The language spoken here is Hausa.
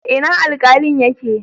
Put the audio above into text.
Ina Alkalin yake?